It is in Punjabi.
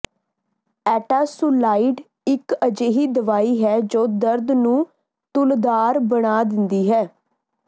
ਐਟਾਾਸੁਲਾਈਡ ਇਕ ਅਜਿਹੀ ਦਵਾਈ ਹੈ ਜੋ ਦਰਦ ਨੂੰ ਤੂਲਧਾਰ ਬਣਾ ਦਿੰਦੀ ਹੈ